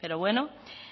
pero bueno